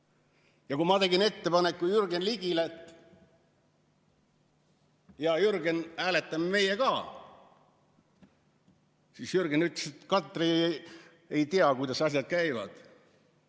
Ja kui ma tegin ettepaneku Jürgen Ligile, et, hea Jürgen, hääletame meie ka, siis Jürgen ütles, et Katri ei tea, kuidas asjad käivad.